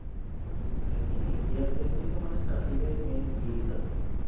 হম এমনি India র ক্ষেত্রে তো চাষিরাই main ভীত আর কি